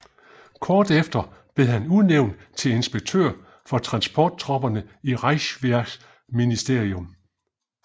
Kort efter blev han udnævnt til inspektør for transporttropperne i Reichswehrministerium